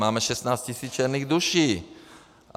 Máme 16 000 černých duší.